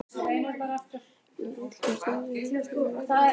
Hún er öllum stundum hjá Þráni eða Þóru vinkonu sinni.